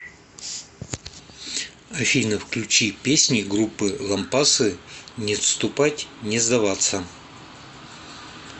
афина включи песни группы лампасы не отступать не сдаваться